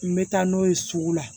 N bɛ taa n'o ye sugu la